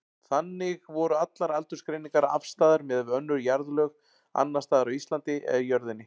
Þannig voru allar aldursgreiningar afstæðar miðað við önnur jarðlög, annars staðar á Íslandi eða jörðinni.